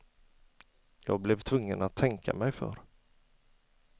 Jag blev tvungen att tänka mig för.